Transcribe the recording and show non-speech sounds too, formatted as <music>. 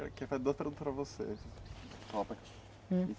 Eu quero fazer duas perguntas para você. <unintelligible>